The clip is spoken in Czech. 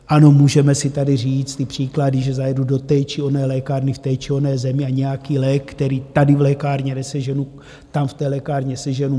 Ano, můžeme si tady říct ty příklady, že zajedu do té či oné lékárny v té či oné zemi a nějaký lék, který tady v lékárně neseženu, tam v té lékárně seženu.